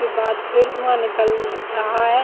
इसके बाद फिर धुवा निकल रहा है।